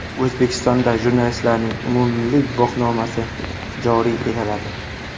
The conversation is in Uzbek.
O‘zbekistonda jurnalistlarning umummilliy guvohnomasi joriy etiladi.